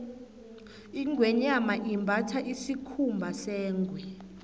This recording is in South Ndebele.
ingweenyama imbatha isikhumba sengwe